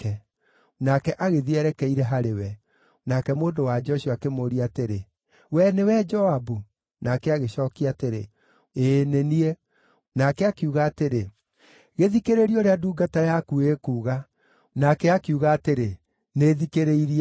Nake agĩthiĩ erekeire harĩ we; nake mũndũ-wa-nja ũcio akĩmũũria atĩrĩ, “Wee nĩwe Joabu?” Nake agĩcookia atĩrĩ, “Ĩĩ nĩ niĩ.” Nake akiuga atĩrĩ, “Gĩthikĩrĩrie ũrĩa ndungata yaku ĩkuuga.” Nake akiuga atĩrĩ, “Nĩ thikĩrĩirie.”